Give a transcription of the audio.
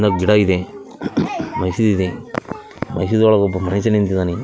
ಇನ್ನ ಗಿಡ ಇದೆ ಮಸೀದಿ ಇದೆ ಮಸೀದಿ ಒಳಗೆ ಒಬ್ಬ ಮನುಷ್ಯ ನಿಂತಿದಾನೆ.